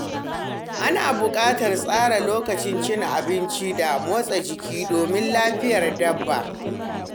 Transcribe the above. Ana bukatar tsara lokaci cin abinci da motsa jiki domin lafiyar dabba.